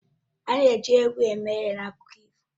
A na-eji egwu eme ihe n'akụkọ ifo